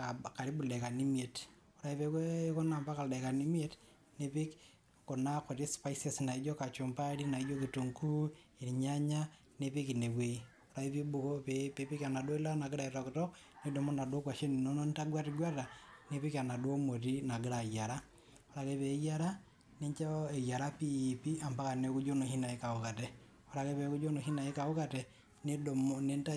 aa karibu ildaikani imiet, ore ake peaku ikuna ampaka ildaikani imiet , nipik kuna kuti spices naijo kachumbari ,naijo kitunguu irnyanya , nipik ine wuei, ore ake pibuko, piipik enaduo ilata nagira aitoktok nidumu inaduo kwashen inonok nitagwetgweta, nipik enaduo moti nagira ayiera, Ore ake peyiera nincho eyiera piipi ampaka niaku ijo inoshi naikaukate , ore ake peaku ijo noshi naikaukate , nidumu nintau